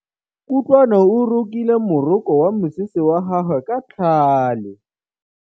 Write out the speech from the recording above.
Kutlwanô o rokile morokô wa mosese wa gagwe ka tlhale.